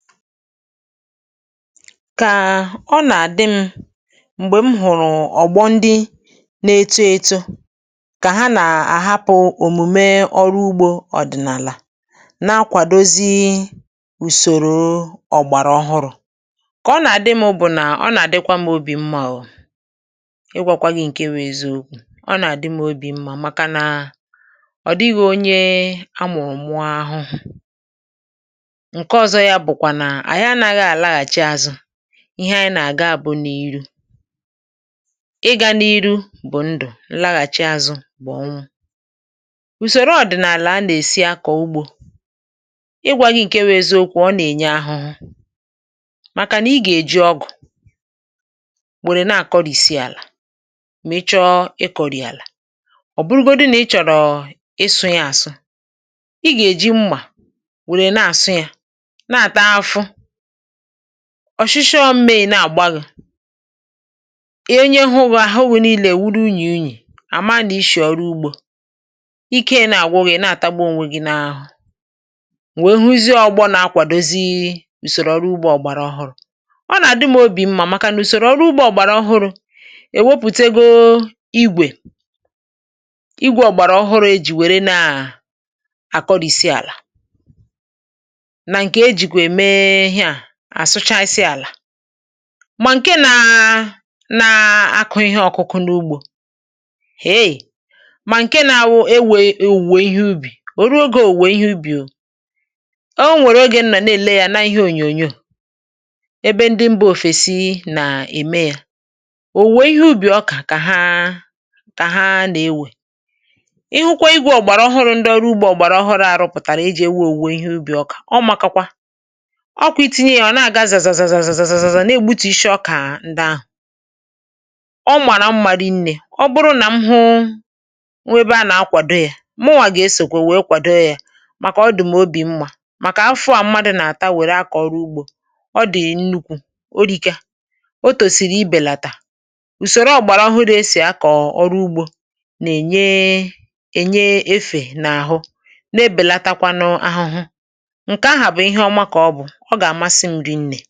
Kà ọ nà-àdị m mgbè m hụrụ ọgbọ ndị na-eto eto kà ha nà-àhapụ omùme ọrụ ugbȯ, ọ dịnàlà na-akwàdozi ùsòrò ọgbàrà ọhụrụ, kà ọ nà-àdị m bụ nà ọ nà-àdịkwa m obì mmȧ o ịgwȧkwa gị ǹke wụ eziokwu, ọ nà-àdị m obì mmȧ maka nà ọ dịghị onye amụrụ mụọ ahụhụ, ǹkè ọzọ ya bụ bukwa na anyi anȧghị alaghachi azu, ihe anyị nà-àga bụ n’iru ị gȧ n’iru bụ ndụ nlaghàchi azụ bụ ọnwụ ùsòro ọdịnààlà a nà-èsi akọ ugbȯ ịgwȧ gi ǹke wu eziokwu ọ nà-ènye ahụhụ màkà ni gà-èji ọgụ̀ wèrè na-àkọrìsi àlà mà ị chọọ ị kọri àlà, ọbụrụgodu nà ị chọrọ ịsụ ya àsụ, i gà-èji mmà wèrè na-àsụ yȧ nata afu, ọshịshọ mme nà àgba gu onye hụ gi àhụ wù nilė awuru unyì unyì, àma n' ishì ọrụ ugbȯ ike i n' àgwụ gị, i na-àtagbu ọnwe gi n’ahụ, m wee huzie ọgbọ nà-akwàdozi ụsòrò ọrụ ugbȯ ọgbàrà ọhụrụ, ọ nà àdi m obì mmȧ màkà nà ụsòrò ọrụ ugbȯ ọgbàrà ọhụrụ èwepùtego igwè, igwė ọgbàrà ọhụrụ ejì wère nà àkọrìsi àlà na ǹkè ejikwa eme ihe a àsụchasị àlà mà ǹke nȧ na-akụ ihe ọkụkụ n’ugbȯ, hee mà ǹke nȧ awu ewe òwùwè ihe ubì òru ogė òwùwè ihe ubì ȯ. O nwèrè ogè nnọ n'èle yȧ na ihe ònyònyo ebe ndị mbȧ òfèsi nà-ème yȧ, òwùwè ihe ubì ọkà kà ha kà ha nà-ewè, ihu kwa igwė ọgbàrà ọhụrụ ndị ọrụ ugbȯ ọgbàrà ọhụrụ à rụpụtàrà iji ewe òwùwè ihe ubì ọkà ọ maka kwa, ọkwa itinye ya, ọ naga zazazaza n’egbutù ishi ọkà ndị ahụ, ọ màrà mma rị nnė ọ bụrụ nà m hụ m hu ẹbe a nà-akwàdo yȧ m nwà gà esokwè wèe kwàdo yȧ, màkà ọ dị m obì mmȧ màkà afu à mmadụ nà-àta wẹrẹ akọ ọru ugbȯ ọ dị nnukwu orika, o tòsìrì ibèlàtà, ùsòrò ọgbàrà ọhụrụ esì akọ ọrụ ugbȯ nà-ènye ènye efè n’àhụ, na-ebèlatakwanụ ahụhụ, ǹkè ahụ bu ihe ọma ka-ọbu, ọga amasị m ri nne.